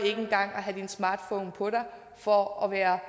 have din smartphone på for at være